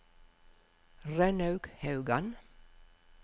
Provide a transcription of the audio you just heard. Rønnaug Haugan